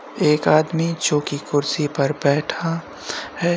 एक आदमी जो कि कुर्सी पर बैठा है।